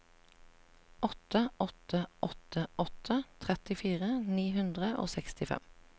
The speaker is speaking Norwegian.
åtte åtte åtte åtte trettifire ni hundre og sekstifem